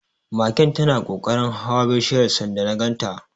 Magen tana kokarin hawa bishiyar sanda na ganta.